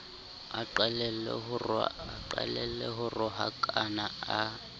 a qalelle ho rohakana a